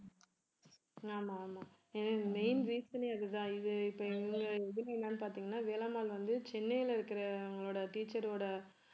ஆமா ஆமா எனக்கு main reason ஏ அதுதான் இது இப்ப இதுல என்னன்னு பார்த்தீங்கன்னா வேலம்மாள் வந்து சென்னையில இருக்கிறவங்களோட teacher ஓட